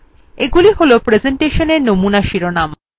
এগুলি হল প্রেসেন্টেশনের নমুনা শিরোনাম